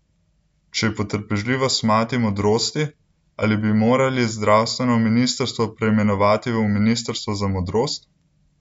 Če je potrpežljivost mati modrosti, ali bi morali zdravstveno ministrstvo preimenovati v ministrstvo za modrost?